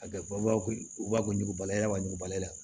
A kɛbaw ko ɲugubalayɛlɛba n'u b'ale la